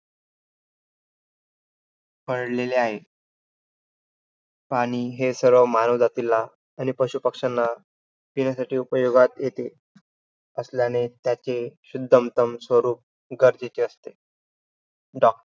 पडलेले आहे. पाणी हे सर्व मानव जातीला आणि पशुपक्षांना पिण्यासाठी उपयोगात येते असल्याने त्याचे शुद्धमतम स्वरूप गरजेचे असते.